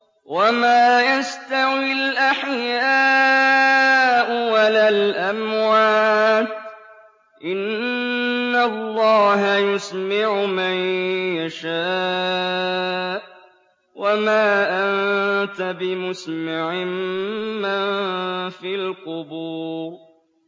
وَمَا يَسْتَوِي الْأَحْيَاءُ وَلَا الْأَمْوَاتُ ۚ إِنَّ اللَّهَ يُسْمِعُ مَن يَشَاءُ ۖ وَمَا أَنتَ بِمُسْمِعٍ مَّن فِي الْقُبُورِ